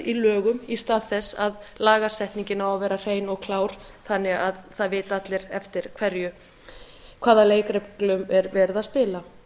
í lögum í stað þess að lagasetningin á að vera hrein og klár þannig að það vita allir eftir hvaða leikreglum er verið að spila